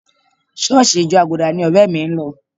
ṣọ́ọ̀ṣì ìjọ Àgùdà ni ọ̀rẹ́ mi ń lọ